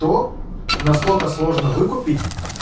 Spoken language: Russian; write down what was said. то насколько сложно выкупить